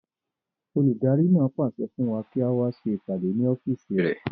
Olùdarí náà pàṣẹ fún wa kí á wá ṣe ìpàdé ní ọ́fìsì rẹ̀